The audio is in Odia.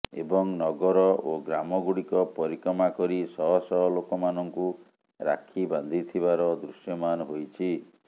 ଏବଂ ନଗର ଓ ଗ୍ରାମଗୁଡିକ ପରିକ୍ରମା କରି ଶହଶହ ଲୋକମାନଙ୍କୁ ରାକ୍ଷୀ ବାନ୍ଧି ଥିବାର ଦୃଶ୍ୟମାନ ହୋଇଛି